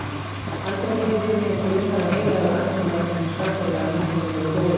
Aldrei hefur mig grunað að Heilagur Andi væri svona svakalega merkilegur og góður.